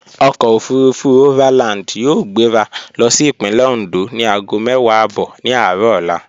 Ọkọ̀ òfurufú overland yóò gbéra lọ sí Ìpínlẹ̀ Oǹdó ni aago mẹ́wàá ààbọ̀ ní aárọ̀ ọla